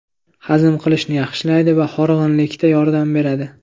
Hazm qilishni yaxshilaydi va horg‘inlikda yordam beradi.